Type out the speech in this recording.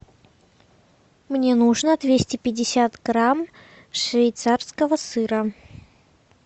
мне нужно двести пятьдесят грамм швейцарского сыра